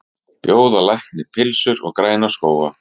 Bjóða lækni pylsur og græna skóga